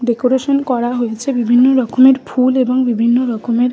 Decoration করা হয়েছে বিভিন্ন রকম এর ফুল। এবং বিভিন্ন রকমের--